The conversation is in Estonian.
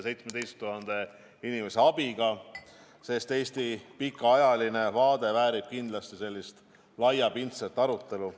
See on valminud 17 000 inimese abiga, sest Eesti pikaajaline vaade väärib kindlasti nii laiapindset arutelu.